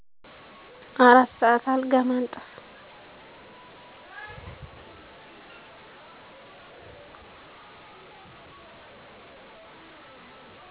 አራት ሰዓት አልጋ ማንጠፍ።